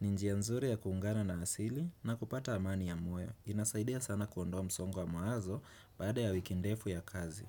ninjia nzuri ya kuungana na asili na kupata amani ya muwe Inasaidea sana kuondoa msongwa maazo bada ya wikindefu ya kazi.